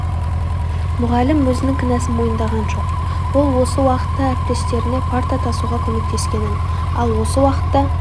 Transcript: мұғалім өзінің кінәсн мойындаған жоқ ол осы уақытта әріптестеріне парта тасуға көмектескенін ал осы уақытта